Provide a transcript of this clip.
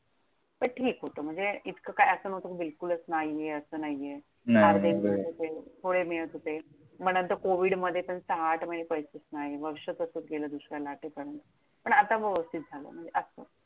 पण ठीक होतं. म्हणजे इतकं काय असं नव्हतं कि बिलकुलच नाहीये असं नाहीये. नाय! अर्धे मिळत होते, थोडे मिळत होते. मग नंतर कोविडमध्ये पण सहा आठ महिने पैसेच नायत. वर्ष कसं गेलं दुसऱ्या लाटेपर्यंत. पण आता व्यवस्थित झालं. म्हणजे असं.